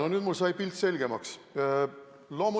No nüüd mul sai pilt selgemaks.